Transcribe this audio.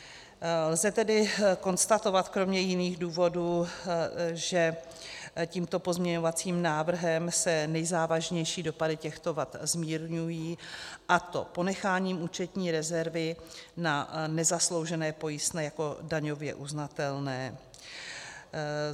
Lze tedy konstatovat, kromě jiných důvodů, že tímto pozměňovacím návrhem se nejzávažnější dopady těchto vad zmírňují, a to ponecháním účetní rezervy na nezasloužené pojistné jako daňově uznatelné.